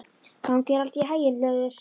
Gangi þér allt í haginn, Hlöður.